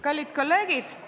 Kallid kolleegid!